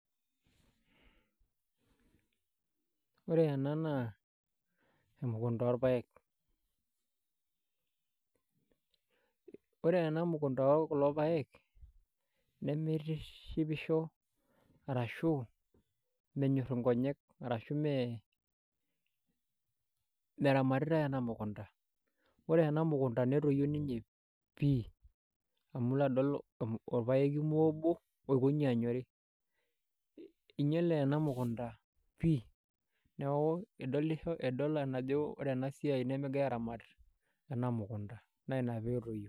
Ore ena naa emukunta orpaek ore ena mukunta ookulo paek nemitishipisho arashu menyorr nkonyek meramatitae ena mukunta ore ena mukunta netoyio ninye pii amu ilo adol orpaeki obo oikonji anyori inyiale ena mukunta pii idol ajo ore ena siai nemegirai aaramat ena mukunta naa ina pee etoyio.